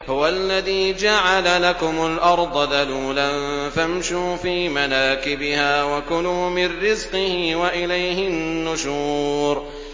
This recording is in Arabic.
هُوَ الَّذِي جَعَلَ لَكُمُ الْأَرْضَ ذَلُولًا فَامْشُوا فِي مَنَاكِبِهَا وَكُلُوا مِن رِّزْقِهِ ۖ وَإِلَيْهِ النُّشُورُ